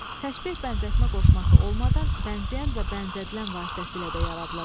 Təşbeh bənzətmə qoşması olmadan bənzəyən və bənzədilən vasitəsilə də yaradıla bilir.